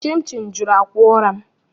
Chinchi juru akwa ụra m.